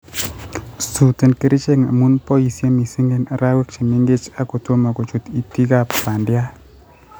suuten kerichek amun boisie missing en arek chemengech ak kotomo kochut itikab bandiat